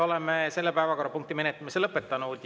Oleme selle päevakorrapunkti menetlemise lõpetanud.